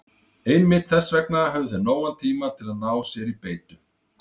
Einmitt þess vegna höfðu þeir nógan tíma til að ná sér í beitu.